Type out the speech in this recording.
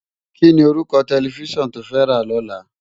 Kini órúkò tèlèfisán tó fè rá lòlá?